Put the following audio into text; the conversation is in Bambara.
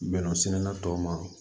Bɛnɛ sɛnɛna tɔw ma